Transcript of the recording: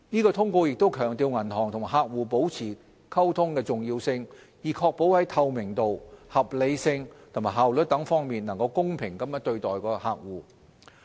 該通告亦強調銀行與客戶保持溝通的重要性，以確保在透明度、合理性和效率等方面能夠公平對待其客戶。